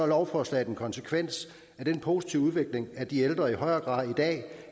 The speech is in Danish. lovforslaget en konsekvens af den positive udvikling at de ældre i højere grad i dag